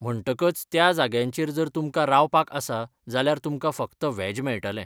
म्हणटकच त्या जाग्यांचेर जर तुमकां रावपाक आसा जाल्यार तुमकां फक्त वॅज मेळटलें.